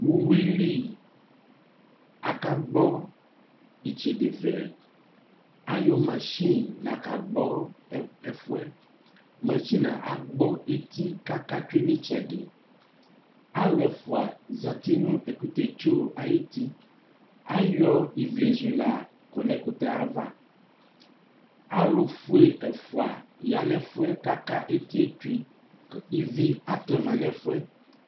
Uwuli akagbɔ itsedɛ vɛ Ayɔ machine lakagbɔ ɛfʋɛ Machine agbɔ eti k'aka tsue n'itsɛdi Alʋ ɛfua zati nʋ ɛkʋtɛtso ayuti Ayɔ iwlezula kɔ nʋ ɛkʋtɛtsoe ayava Alʋfue ɛfua yan'ɛfʋɛ k'aka eti yɛ tsoe kʋ ivi atɛma nɛfu yɛ